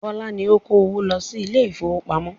Bọ́lá ni ó ń kó owó lọ sí ilé ìfowópamọ́.